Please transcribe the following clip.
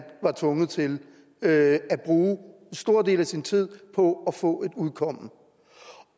var tvunget til at bruge en stor del af sin tid på at få et udkomme